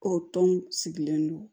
Ko tɔn sigilen don